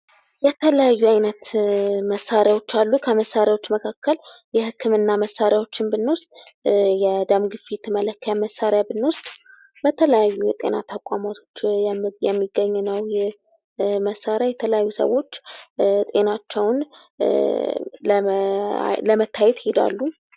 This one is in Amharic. የተለያዩ አይነት መሣሪያዎች አሉ። ከመሣሪያዎች መካከል የህክምና መሣሪያዎችን ብንወስድ የደም ግፊት መለኪያ መሣሪያ ብንወስድ በተለያዩ የጤና ተቋማት የሚገኝ ነው። መሣሪያ የተለያዩ ሰዎች ጤናቸውን ለመታየት ይሔዳሉ።